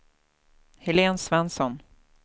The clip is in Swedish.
Helen Svensson